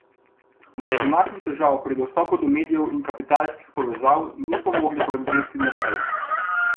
Zaradi naših težav pri dostopu do medijev in kapitalskih povezav nismo mogli prodreti naprej.